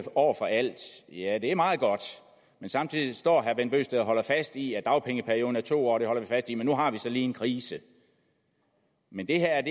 over for alt ja det er meget godt men samtidig står herre bent bøgsted og holder fast i at dagpengeperioden er to år det holder man fast i nu har vi så lige en krise men det her